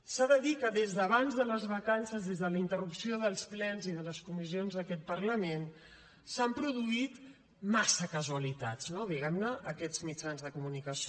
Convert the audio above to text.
s’ha de dir que des d’abans de les vacances des de la interrupció dels plens i de les comissions d’aquest parlament s’han produït massa casualitats no diguem ne en aquests mitjans de comunicació